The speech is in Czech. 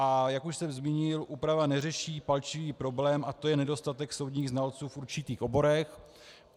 A jak už jsem zmínil, úprava neřeší palčivý problém, a to je nedostatek soudních znalců v určitých oborech.